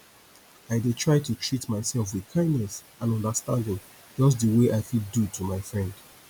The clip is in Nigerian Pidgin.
i dey try to treat myself with kindness and understanding just di way i fit do to my friend